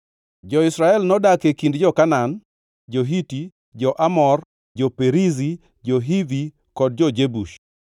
Jo-Israel nodak e kind jo-Kanaan, jo-Hiti, jo-Amor, jo-Perizi, jo-Hivi kod jo-Jebus.